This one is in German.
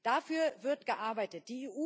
Dafür wird gearbeitet.